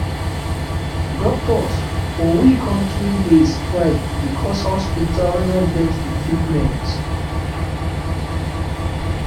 doctors for we country dey strike because hospitals no get equipment